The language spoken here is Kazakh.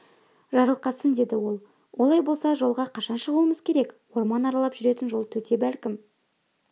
жарылқасын деді ол олай болса жолға қашан шығуымыз керек орман аралап жүретін жол төте бәлкім